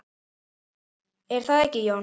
Er það ekki, Jón?